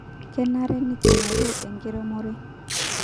kenare nikinyorru enkiremore